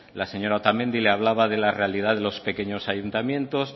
la señora otamendi le hablaba de la realidad de los pequeños ayuntamientos